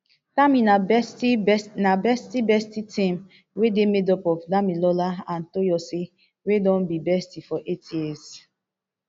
tami na bestie bestie team wey dey made up of damilola and toyosi wey don be bestie for eight years